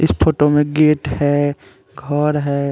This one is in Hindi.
इस फोटो में गेट है घर है।